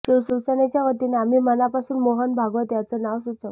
शिवसेनेच्या वतीने आम्ही मनापासून मोहन भागवत यांचं नाव सुचवलं